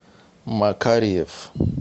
макарьев